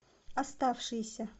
оставшиеся